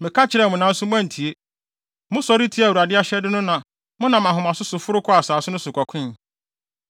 Meka kyerɛɛ mo, nanso moantie. Mosɔre tiaa Awurade ahyɛde no na monam ahomaso so foro kɔɔ asase no so kɔkoe.